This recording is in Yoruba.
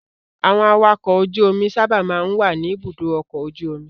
Àwọn awakọ̀ ojú-omi sábà máa ń wà ní Ibùdó-ọkọ̀ ojú-omi.